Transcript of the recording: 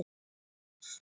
Nú eru blikur á lofti.